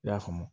I y'a faamu